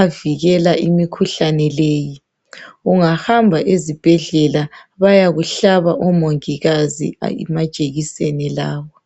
avikela imikhuhlane leyi. Ungahamba ezibhedlela bayakuhlaba omongikazi amajekiseni lawa.